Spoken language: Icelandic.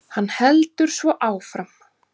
Hann heldur svo áfram